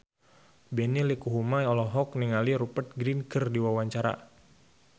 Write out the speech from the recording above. Benny Likumahua olohok ningali Rupert Grin keur diwawancara